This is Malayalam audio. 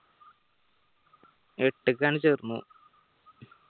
എട്ട് ക്കാണ്‌ ചേർന്നത്